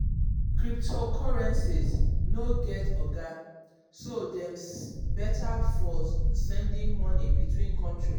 cryptocurrencies no get oga so dem better for sending moni between countries.